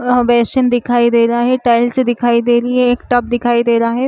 ओह वइसन दिखाई दे रहा हे टाइल्स दिखाई दे रही हे एक टब दिखाई दे रहा हे।